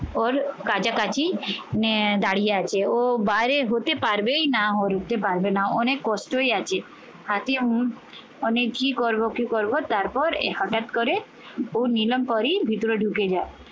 ওর কাছাকাছি আহ দাঁড়িয়ে আছে। ও বাইরে হতে পারবেই না পারবে না। অনেক কষ্টই আছে অনেক কি করবো কি করবো তারপর হঠাৎ করে ও নিলাম পরেই ভিতরে ঢুকে যায়।